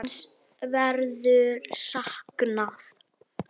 Hans verður saknað.